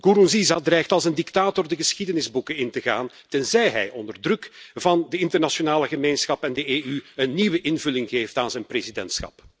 Nkurunziza dreigt als een dictator de geschiedenisboeken in te gaan, tenzij hij onder druk van de internationale gemeenschap en de EU een nieuwe invulling geeft aan zijn presidentschap.